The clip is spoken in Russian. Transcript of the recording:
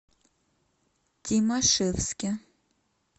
тимашевске